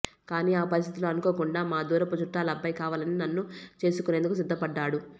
కాని ఆ పరిస్థితుల్లో అనుకోకుండా మా దూరపు చుట్టాలబ్బాయి కావాలని నన్ను చేసుకునేందుకు సిద్ధ పడ్డాడు